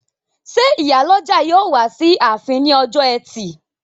Ṣé ìyálọ́jà yóò wá sí ààfin ní ọjọ́ ẹtì?